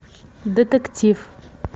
детектив